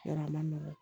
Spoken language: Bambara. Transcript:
Yɔrɔ a ma nɔgɔn